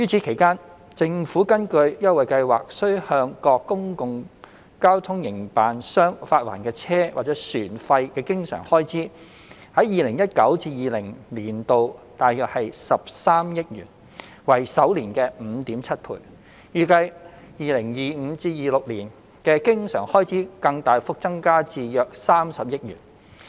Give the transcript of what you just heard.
其間，政府根據優惠計劃需向各公共交通營辦商發還的車費或船費的經常開支，在 2019-2020 年度約13億元，為首年的 5.7 倍，預計 2025-2026 年度的經常開支更大幅增加至約30億元。